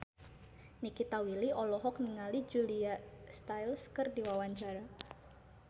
Nikita Willy olohok ningali Julia Stiles keur diwawancara